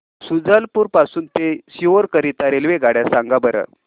शुजालपुर पासून ते सीहोर करीता रेल्वेगाड्या सांगा बरं